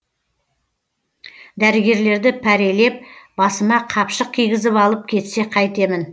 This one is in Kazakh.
дәрігерлерді пәрелеп басыма қапшық кигізіп алып кетсе қайтемін